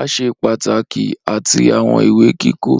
aṣẹ pataki ati awọn iwe kikọ.